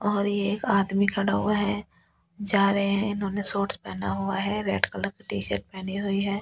और ये एक आदमी खड़ा हुआ है जा रहें हैं इन्होंने शॉर्ट्स पहना हुआ है रेड कलर का टी शर्ट्स पहनी हुई है --